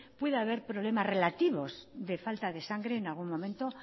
pueda haber problemas relativos de falta de sangre en algún momento